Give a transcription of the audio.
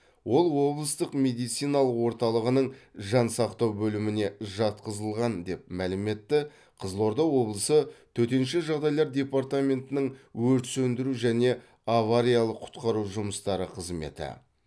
ол облыстық медициналық орталығының жан сақтау бөліміне жатқызылған деп мәлім етті қызылорда облысы төтенше жағдайлар департаментінің өрт сөндіру және авариялық құтқару жұмыстары қызметі